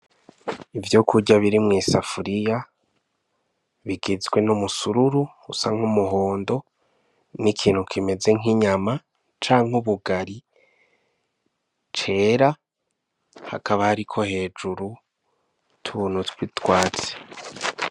Ivyo kurya biri mw'isafuriya bigizwe n'umusururu usa nk'umuhondo nikintu kimeze nk'inyama canke ubugali cera hakaba hariko hejuru utuntu tw'utwatsi.